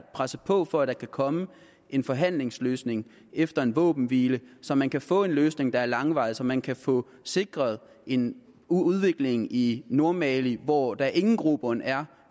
presse på for at der kan komme en forhandlingsløsning efter en våbenhvile så man kan få en løsning der er langvarig og så man kan få sikret en udvikling i nordmali hvor der ingen grobund er